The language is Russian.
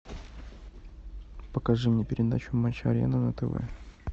покажи мне передачу матч арена на тв